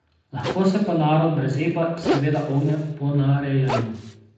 Lahko se pa narod brez epa seveda ogne ponarejanju.